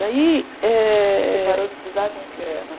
Daí... Eh... Você parou de estudar com que ano?